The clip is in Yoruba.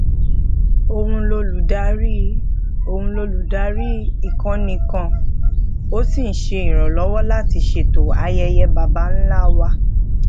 oun loludari oun loludari ikoni kan o si n se iranlowo lati ṣètò ayeye baba nla wa